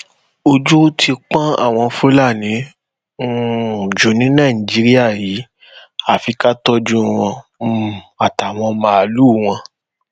ojú ti pọn àwọn fúlàní um jù ni nàìjíríà yìí àfi ká tọjú wọn um àtàwọn màálùú wọn